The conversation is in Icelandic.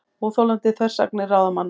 Óþolandi þversagnir ráðamanna